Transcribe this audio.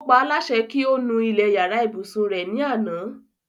Ó paólásẹ kí o nu ilẹ̀ yàrá ìbùsùn re ní àná.